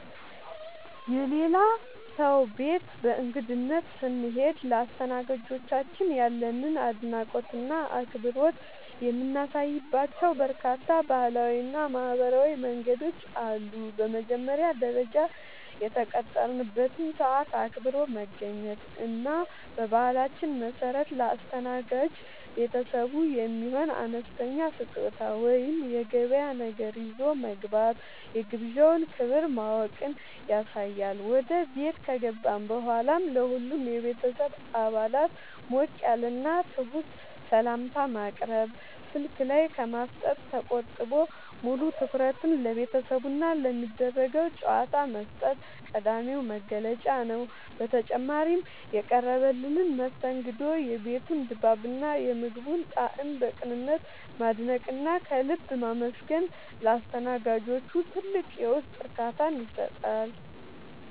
የሌላ ሰው ቤት በእንግድነት ስንሄድ ለአስተናጋጆቻችን ያለንን አድናቆትና አክብሮት የምናሳይባቸው በርካታ ባህላዊና ማኅበራዊ መንገዶች አሉ። በመጀመሪያ ደረጃ፣ የተቀጠረበትን ሰዓት አክብሮ መገኘት እና በባህላችን መሠረት ለአስተናጋጅ ቤተሰቡ የሚሆን አነስተኛ ስጦታ ወይም የገበያ ነገር ይዞ መግባት የግብዣውን ክብር ማወቅን ያሳያል። ወደ ቤት ከገባን በኋላም ለሁሉም የቤተሰብ አባላት ሞቅ ያለና ትሑት ሰላምታ ማቅረብ፣ ስልክ ላይ ከማፍጠጥ ተቆጥቦ ሙሉ ትኩረትን ለቤተሰቡና ለሚደረገው ጨዋታ መስጠት ቀዳሚው መገለጫ ነው። በተጨማሪም፣ የቀረበልንን መስተንግዶ፣ የቤቱን ድባብና የምግቡን ጣዕም በቅንነት ማድነቅና ከልብ ማመስገን ለአስተናጋጆቹ ትልቅ የውስጥ እርካታን ይሰጣል።